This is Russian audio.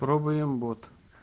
пробуем бот